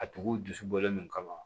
A tigiw dusu bɔlen kama